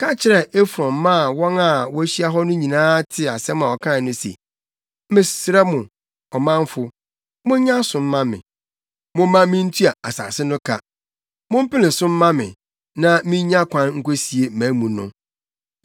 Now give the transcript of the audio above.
ka kyerɛɛ Efron maa wɔn a wɔahyia hɔ no nyinaa tee asɛm a ɔkae no se, “Mesrɛ mo, ɔmanfo, monyɛ aso mma me. Momma mintua asase no ka. Mompene so mma me, na minnya kwan nkosie mʼamu no.”